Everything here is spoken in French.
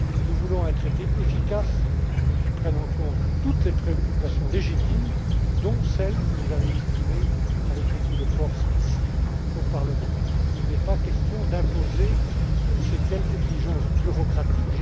Nous voulons un traité efficace, qui prenne en compte toutes les préoccupations légitimes, dont celles que vous avez exprimées avec beaucoup de force, ici, au Parlement européen. Il n'est pas question d'imposer je ne sais quelle exigence bureaucratique.